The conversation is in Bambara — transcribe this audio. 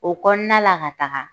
O kɔnɔna la ka taga